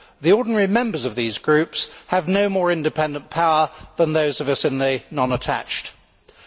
The ordinary members of these groups have no more independent power than those of us who are Non attached Members.